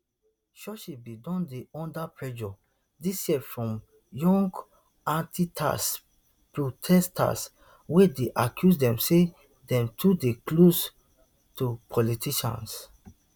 churches bin don dey under pressure dis year from young antitax protesters wey dey accuse dem say dem too dey close to politicians